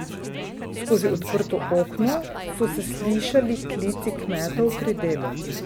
Skozi odprto okno so se slišali klici kmetov pri delu.